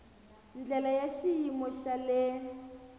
ndlela ya xiyimo xa le